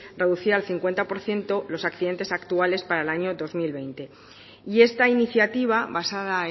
reducir al cincuenta por ciento los accidentes actuales para el año dos mil veinte y esta iniciativa basada